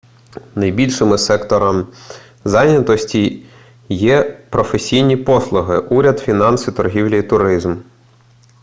найбільшими секторам зайнятості є професійні послуги уряд фінанси торгівля і туризм